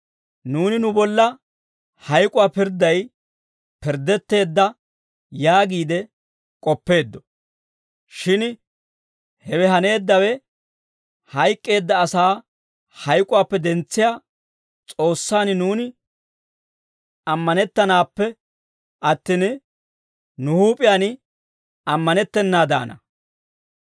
Nuuni nu bolla hayk'uwaa pirdday pirddetteedda yaagiide k'oppeeddo; shin hewe haneeddawe hayk'k'eedda asaa hayk'uwaappe dentsiyaa S'oossaan nuuni ammanettanappe attin, nu huup'iyaan ammanettennaadaana.